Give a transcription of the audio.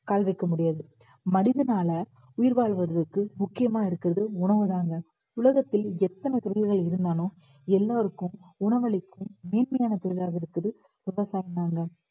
கால் வைக்க முடியாது. மனிதனால உயிர் வாழ்வதற்கு முக்கியமா இருக்குறது உணவு தாங்க உலகத்தில் எத்தனை தொழில்கள் இருந்தாலும் எல்லாருக்கும் உணவளிக்கும் மேன்மையான தொழிலாக இருப்பது விவசாயம் தாங்க